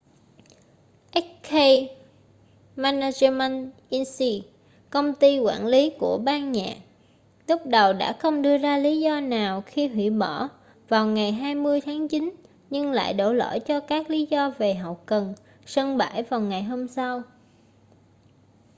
hk management inc công ty quản lý của ban nhạc lúc đầu đã không đưa ra lý do nào khi hủy bỏ vào ngày 20 tháng chín nhưng lại đổ lỗi cho các lý do về hậu cần sân bãi vào ngày hôm sau